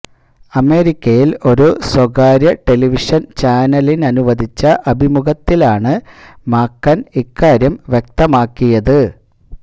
അമേരിക്കയില് ഒരു സ്വകാര്യ ടെലിവിഷന് ചാനലിനനുവദിച്ച അഭിമുഖത്തിലാണ് മാക്കന് ഇക്കാര്യം വ്യക്തമാക്കിയത്